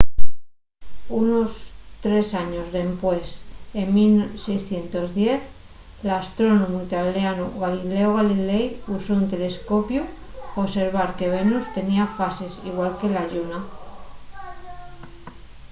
unos tres años dempués en 1610 l’astrónomu italianu galileo galilei usó un telescopiu pa observar que venus tenía fases igual que la lluna